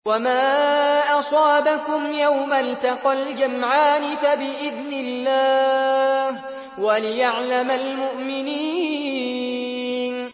وَمَا أَصَابَكُمْ يَوْمَ الْتَقَى الْجَمْعَانِ فَبِإِذْنِ اللَّهِ وَلِيَعْلَمَ الْمُؤْمِنِينَ